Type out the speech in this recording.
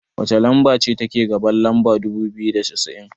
wacce lamba ce take gaban lamba dubu biyu da cassa'in?